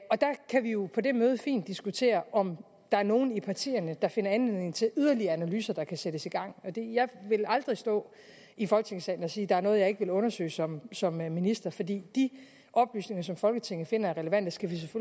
kan vi jo på det møde fint diskutere om der er nogle af partierne der finder anledning til yderligere analyser der kan sættes i gang jeg vil aldrig stå i folketingssalen og sige at der er noget jeg ikke vil undersøge som som minister for de oplysninger som folketinget finder er relevante skal vi